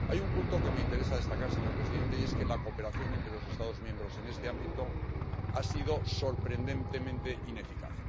Hay un punto que me interesa destacar, señor presidente, y es que la cooperación entre los Estados miembros en este ámbito ha sido sorprendentemente ineficaz.